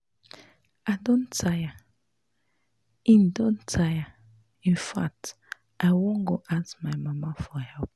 I don tire, in don tire, in fact I wan go ask my mama for help